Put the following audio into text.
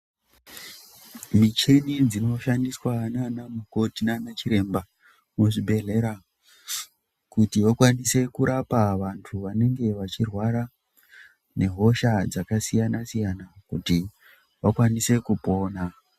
Michini dzinoshandiswa nana mukoti nana chiremba muzvibhedhlera kuti vakwanise kurapa vantu vanenge vachirwara nehosha dzakasiyana siyana kuti vakwanise kupona.